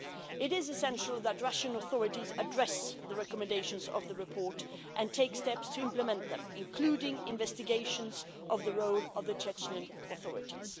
It is essential that Russian authorities address the recommendations of the report and take steps to implement them, including investigations of the role of the Chechen authorities.